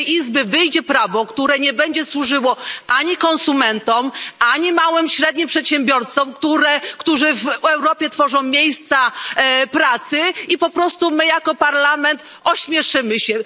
Z tej izby wyjdzie prawo, które nie będzie służyło ani konsumentom, ani małym i średnim przedsiębiorcom, którzy w Europie tworzą miejsca pracy, i po prostu my jako Parlament ośmieszymy się.